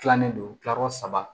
Tilannen don kilakɔrɔ saba